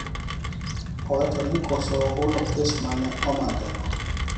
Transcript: Owacho ni koso hulo kes ma ne omakeno